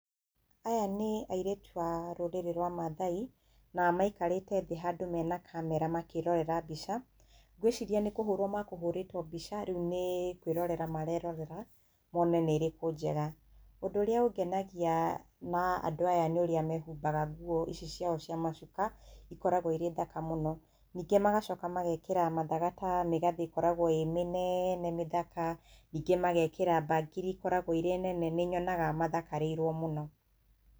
Aya nĩ airĩtu a rũrĩrĩ rwa mathai, na maikarĩte thĩ handũ mena camera makĩrorera mbica. Ngwĩciria nĩ kũhũrwo makũhũrĩtwo mbica rĩu nĩ kwĩrorera marerorera mone nĩ ĩrĩkũ njega. ũndũ ũrĩa ũngenagia na andũ aya nĩ ũrĩa mehumbaga nguo ici ciao cia macuka, ĩkoragwo irĩ thaka mũno. Ningĩ magacoka magekĩra mathaga ta mĩgathĩ ĩkoragwo ĩ mĩnene mĩthaka, ningĩ magekĩra bangiri ĩkoragwo irĩ nene nĩnyonaga mathakarĩirwo mũno.